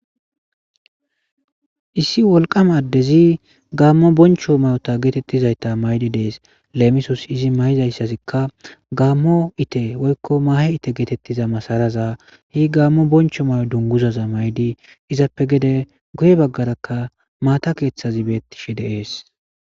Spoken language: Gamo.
issi wolqama addezi gammo boncho may7ota geetettizayta maydi dees leemisos izi mayizayssasikka gaammo ite woykko maahe ite geetettiza masaraza hi gaammo boncho may7o dunguzaza maydi izappe gede guye baggarakka maata keeththazi beettishe deees